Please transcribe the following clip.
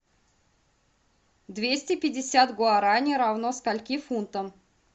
двести пятьдесят гуарани равно скольки фунтам